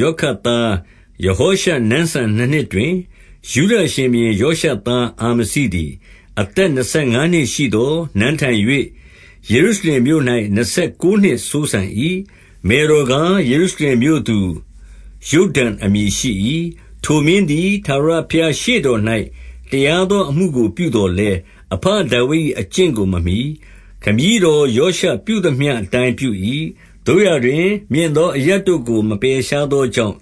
ယောခတ်သား ယဟောရှ နန်းစံနှစ်နှစ်တွင်၊ 2 ယုဒရှင်ဘုရင် ယောရှသားအာမဇိသည် အသက်နှစ်ဆယ်ငါးနှစ်ရှိသော် နန်းထိုင်၍ ယေရုရှလင်မြို့၌ နှစ်ဆယ်ကိုးနှစ်စိုးစံ၏။ မယ်တော်ကား၊ ယေရုရှလင်မြို့ သူ ယုဒ္ဒန်အမည်ရှိ၏။ 3 ထိုမင်းသည် ထာဝရဘုရား ရှေ့တော်၌တရား သော အမှုကိုပြုသော်လည်း၊ အဘဒါဝိဒ်၏ အကျင့်ကိုမမှီ၊ ခမည်းတော်ယောရှပြုသမျှအတိုင်းပြု၏။ 4 သို့ရာတွင် မြင့်သောအရပ်တို့ကို မပယ်ရှားသော ကြောင့်၊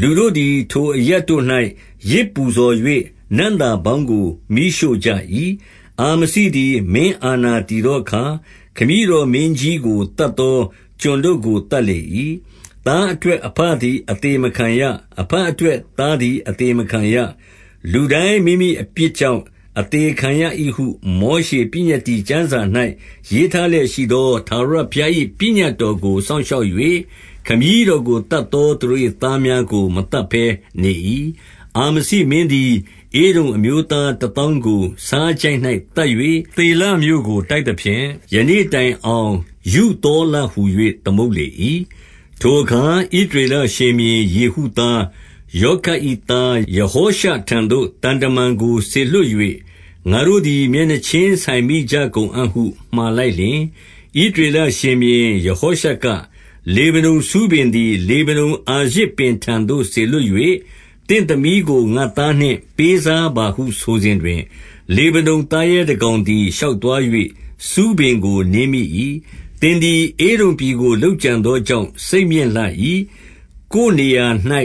လူတို့သည် ထိုအရပ်တို့၌ ယဇ်ပူဇော်၍ နံ့သာ ပေါင်းကို မီးရှို့ကြ၏။ 5 အာမဇိသည် မင်းအာဏာတည်သောအခါ၊ ခမည်းတော်မင်းကြီးကို သတ်သော ကျွန်တို့ကို သတ်လေ ၏။ 6 သားအတွက်အဘသည် အသေမခံရ။အဘ အတွက် သားသည် အသေမခံရ။ လူတိုင်းမိမိအပြစ် ကြောင့် အသေခံရ၏ဟု မောရှေပညတ္တိကျမ်းစာ၌ ရေးထားလျက်ရှိသော ထာဝရဘုရား၏ ပညတ်တော်ကို စောင့်ရှောက်၍ ခမည်းတော်ကိုသတ်သောသူတို့၏ သားများကိုမသတ်ဘဲ နေ၏။ 7 အာမဇိမင်းသည် ဧဒုံအမျိုးသားတသောင်းကို ဆားချိုင့်၌ သတ်၍ သေလမြို့ကို တိုက်သဖြင့်၊ ယနေ့ တိုင်အောင် ယုဿေလဟူ၍ သမုတ်လေ၏။ 8 ထိုအခါ ဣသရေလရှင်ဘုရင်ယေဟုသား ယောခတ်၏ သားယဟောရှထံသို့ သံတမန်ကို စေလွှတ် ၍၊ ငါတို့သည် မျက်နှာချင်းဆိုင်မိကြကုန်အံ့ဟု မှာလိုက် လျှင်၊ 9 ဣသရေလရှင်ဘုရင် ယဟောရှက၊ လေဗနုန် ဆူးပင်သည် လေဗနုန်အာရဇ်ထံသို့ စေလွှတ်၍၊ သင့် သမီးကို ငါ့သားနှင့် ပေးစားပါဟု ဆိုစဉ်တွင်၊ လေဗနုန် သားရဲတကောင်သည် ရှောက်သွား၍ ဆူးပင်ကို နင်းမိ ၏။ 10 သင်သည် ဧဒုံပြည်ကို လုပ်ကြံသောကြောင့် စိတ်မြင့်လှ၏။ ကိုယ်နေရာ၌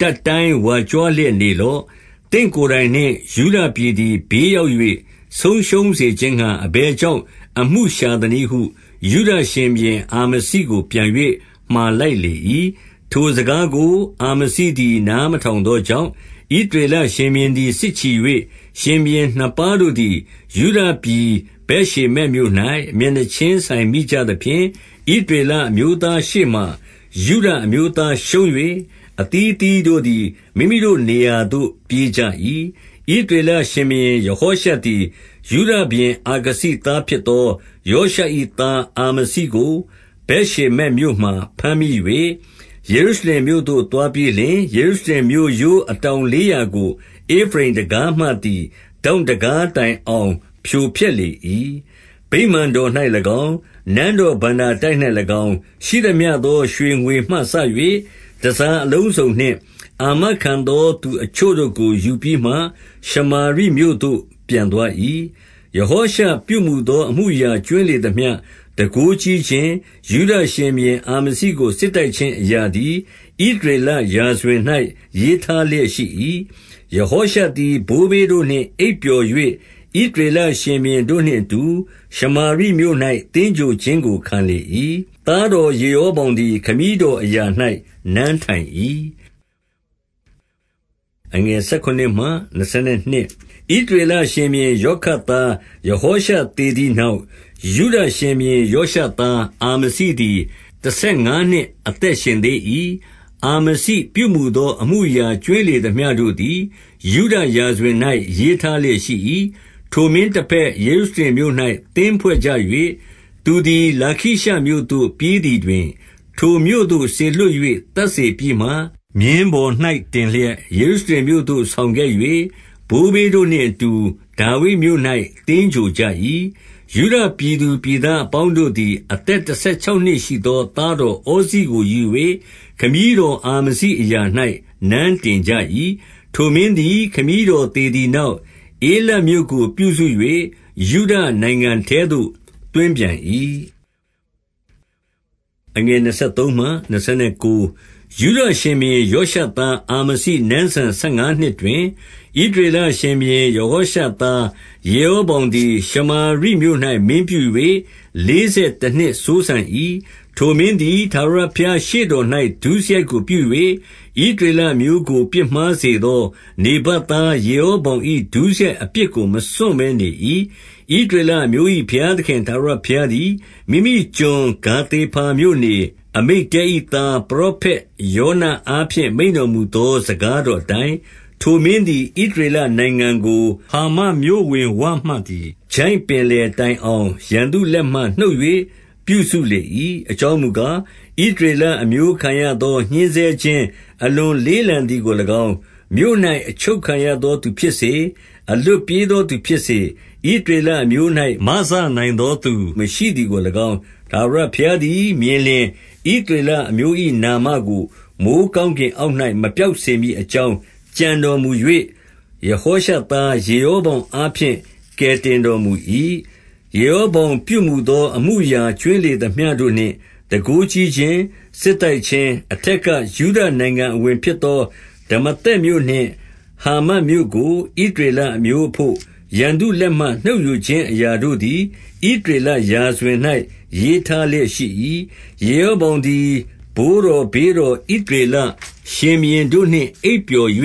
တတ်တိုင်းဝါကြွားလျက် နေလော့။ သင့်ကိုယ်တိုင်နှင့် ယုဒပြည်သည် ဘေးရောက် ၍ ဆုံးရှုံးစေခြင်းငှါ အဘယ်ကြောင့်အမှုရှာသနည်းဟု ယုဒရှင်ဘုရင် အာမဇိကိုပြန်၍ မှာလိုက်လေ၏။ 11 ထိုစကားကို အာမဇိသည် နားမထောင်သော ကြောင့်၊ ဣသရေလရှင်ဘုရင်သည် စစ်ချီ၍ ရှင်ဘုရင် နှစ်ပါးတို့သည် ယုဒပြည် ဗက်ရှေမက်မြို့၌ မျက်နှာချင်း ဆိုင်မိကြသဖြင့်၊ 12 ဣသရေလအမျိုးသားရှေ့မှာ ယုဒအမျိုးသား ရှုံး၍ အသီးအသီးတို့သည် မိမိတို့နေရာသို့ ပြေးကြ၏။ 13 ဣသရေလရှင်ဘုရင်ယဟောရှသည်၊ ယုဒ ရှင်ဘုရင် အာခဇိသားဖြစ်သော ယောရှ၏ သားအာမဇိ ကို ဗက်ရှေမက်မြို့မှာ ဘမ်းမိ၍၊ ယေရုရှလင်မြို့သို့ သွားပြီးလျှင် ယေရုရှလင်မြို့ရိုးအတောင်လေးရာကို ဧဖရိမ်တံခါးမှသည် ထောင့်တံခါးတိုင်အောင် ဖြိုဖျက် လေ၏။ 14 ဗိမာန်တော်၌၎င်း၊ နန်းတော်ဘဏ္ဍာတိုက်၌၎င်း၊ ရှိသမျှသော ရွှေငွေမှစ၍ တန်ဆာအလုံးစုံနှင့် အာမခံ သောသူအချို့တို့ကို ယူပြီးမှ ရှမာရိမြို့သို့ပြန်သွား၏။ 15 ယဟောရှပြုမူသော အမှုအရာကြွင်းလေသမျှ၊ တန်ခိုးကြီးခြင်း၊ ယုဒရှင်ဘုရင်အာမဇိကို စစ်တိုက်ခြင်း အရာသည် ဣသရေလရာဇဝင်၌ ရေးထားလျက်ရှိ၏။ 16 ယဟောရှသည် ဘိုးဘေးတို့နှင့် အိပ်ပျော်၍၊ ဣသရေလ ရှင်ဘုရင်တို့နှင့်အတူ ရှမာရိမြို့၌ သင်္ဂြိုဟ် ခြင်းကို ခံလေ၏။ သားတော်ယေ ရောဗောင်သည် ခမည်းတော်အရာ၌နန်းထိုင်၏။ 17 ဣသရေလရှင်ဘုရင် ယောခတ်သားယဟောရှ သေသည်နောက်၊ ယုဒရှင်ဘုရင်ယောရှသား အာမဇိသည် တဆယ်ငါးနှစ် အသက်ရှင်သေး၏။ 18 အာမဇိ ပြုမူသော အမှုအရာကြွင်းလေသမျှ တို့သည် ယုဒရာဇဝင်၌ရေးထားလျက်ရှိ၏။ 19 ထိုမင်းတဘက် ယေရုရှလင်မြို့၌ သင်းဖွဲ့ကြ၍၊ သူသည် လာခိရှမြို့သို့ ပြေးသည်တွင်၊ ထိုမြို့သို့ စေလွှတ် ၍ သတ်စေပြီးမှ၊ 20 မြင်းပေါ်၌တင်လျက် ယေရုရှလင်မြို့သို့ ဆောင် ခဲ့၍ ဘိုးဘေးတို့နှင့်အတူ ဒါဝိဒ်မြို့၌ သင်္ဂြိုဟ်ကြ၏။ 21 ယုဒပြည်သူပြည်သားအပေါင်းတို့သည် အသက် တဆယ်ခြောက်နှစ်ရှိသော သားတော်ဩဇိကိုယူ၍ ခမည်းတော် အာမဇိအရာ၌ နန်းတင်ကြ၏။ 22 ထိုမင်းသည် ခမည်းတော်သေသည်နောက်၊ ဧလတ်မြို့ကိုပြုစု၍ ယုဒနိုင်ငံထဲသို့ သွင်းပြန်၏။ 23 ယုဒရှင်ဘုရင်ယောရှသား အာမဇိနန်းစံ ဆယ်ငါးနှစ်တွင်၊ ဣသရေလရှင်ဘုရင် ယဟောရှသား ယေရောဗောင်သည် ရှမာရိမြို့၌ မင်းပြု၍ လေးဆယ် တနှစ်စိုးစံ၏။ 24 ထိုမင်းသည် ထာဝရဘုရားရှေ့တော်၌ ဒုစရိုက် ကိုပြု၍၊ ဣသရေလအမျိုးကို ပြစ်မှားစေသော နေဗတ် သား ယေရောဗောင်၏ ဒုစရိုက်အပြစ်ကို မစွန့်ဘဲနေ၏။ 25 ဣသရေလအမျိုး၏ ဘုရားသခင်ထာဝရဘုရား သည် မိမိကျွန် ဂါသေဖာမြို့နေ၊ အမိတ္တဲ၏ သား ပရောဖက်ယောနအားဖြင့် မိန့်တော်မူ သောစကားတော် အတိုင်း၊ ထိုမင်းသည် ဣသရေလနိုင်ငံကို ဟာမက်မြို့ ဝင်ဝမှသည် ချိုင့်ပင်လယ်တိုင်အောင် ရန်သူလက်မှ နှုတ်၍ပြုစုလေ၏။ 26 အကြောင်းမူကား၊ ဣသရေလအမျိုးခံရသော ညှဉ်းဆဲခြင်း အလွန်လေးလံသည်ကို၎င်း၊ မြို့၌ အချုပ် ခံရသောသူဖြစ်စေ၊ အလွတ်ပြေးသောသူဖြစ်စေ၊ ဣသ ရေလအမျိုး၌ မစနိုင်သောသူ မရှိသည်ကို၎င်း၊ ထာဝရ ဘုရားသည်မြင်လျှင်၊ 27 ဣသရေလအမျိုး၏ နာမကို မိုဃ်းကောင်းကင် အောက်၌ မပျောက်စေမည်အကြောင်း ကြံတော်မူ၍၊ ယဟောရှသား ယေရောဗောင်အားဖြင့် ကယ်တင်တော် မူ၏။ 28 ယေရောဗောင်ပြုမူသော အမှုအရာကြွင်းလေ သမျှတို့နှင့် တန်ခိုးကြီးခြင်း၊ စစ်တိုက်ခြင်း၊ အထက်က ယုဒနိုင်ငံအဝင်ဖြစ်သော ဒမာသက်မြို့နှင့် ဟာမက်မြို့ကို ဣသရေလအမျိုးအဘို့၊ ရန်သူလက်မှ နှုတ်ယူခြင်း အရာ တို့သည် ဣသရေလရာဇဝင်၌ ရေးထားလျက်ရှိ၏။ 29 ယေရောဗောင်သည် ဘိုးတော်ဘေးတော် ဣသ ရေလရှင်ဘုရင်တို့နှင့်အိပ်ပျော်၍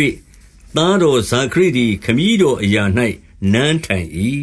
သားတော် ဇာခရိသည် ခမည်းတော်အရာ၌နန်းထိုင်၏